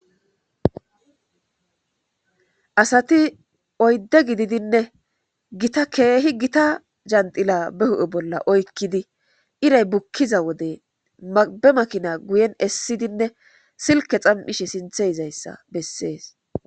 Asati oydde gididinne gita keehi gita jandila be hu'e bolla oykkidi iray bukkiza wode mabe makina guyen essidinne silke xam7ishe sinthe izayssa bessees.